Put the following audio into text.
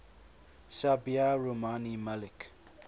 sabiha rumani malik